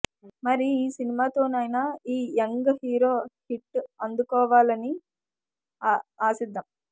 మరి ఈ సినిమాతోనైనా ఈ యంగ్ హీరో హిట్ అందుకోవాలని ఆశిద్దాం